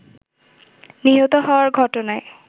নিহত হওয়ার ঘটনায়